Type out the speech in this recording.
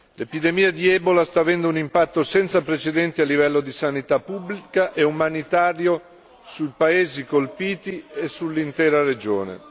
L'epidemia di ebola sta avendo un impatto senza precedenti a livello di sanità pubblica e umanitario sui paesi colpiti e sull'intera regione.